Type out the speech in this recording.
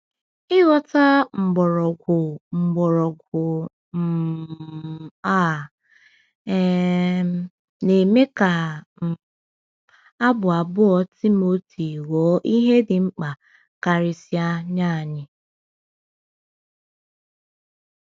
Ịghọta mgbọrọgwụ mgbọrọgwụ um a um na-eme ka um Abụ abụọ Timoteo ghọọ ihe dị mkpa karịsịa nye anyị.